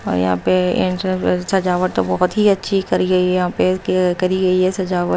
यहाँ पे इंट सजावट तो बहुत ही अच्छी करी गई यहाँ पे करी गई है सजावट--